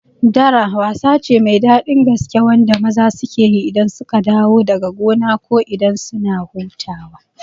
Dara wasa ce mai daɗi gaske wanda maza suke yi idan suka dawo daga gona ko idan suna hutawa